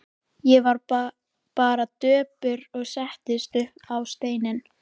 Ég varð bara döpur og settist upp á stein.